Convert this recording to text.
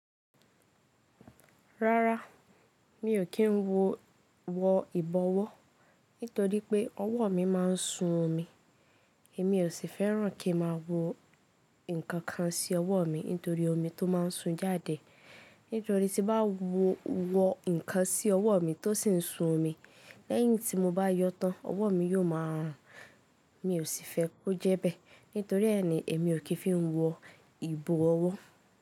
Rárá mi ò kí n wo wọ ìbọwọ́ nítorí pé ọwọ́ mi má a ń sun omi. Èmi ò sì fẹ́ràn kí n má a wo ǹkan kan sí ọwọ́ mi nítorí omi tó má ń sun jáde. Nítorí tí n bá wo wọ ǹkan sí ọwọ́ mi tó sì ń sun omi, lẹ́yìn tí mo bá yọ tán, ọwọ́ mi yóò máa rùn. Mi ò sì fẹ́ kó jẹ́ bẹ́ẹ̀. Nítorí ẹ́ ni èmi ò kì n fi wo ìbọwọ́.